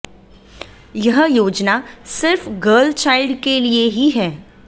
यह योजना सिर्फ गर्ल चाइल्ड के लिए ही है